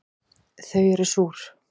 Þau eru súr